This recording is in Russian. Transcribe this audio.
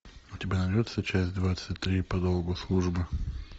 у тебя найдется часть двадцать три по долгу службы